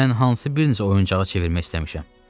Mən hansı birincə oyuncağa çevirmək istəmişəm?